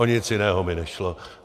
O nic jiného mi nešlo.